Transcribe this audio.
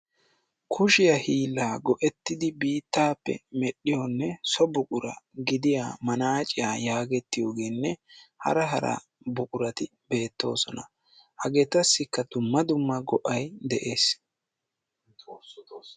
Kushiya hiila go"ettidi biittappe medhdhiyonne so buqura gidiya manacciyaa yaagetiyoogenne hara hara buqurati beettoosona Hagetassikka dumma dumma go"ay de'ees.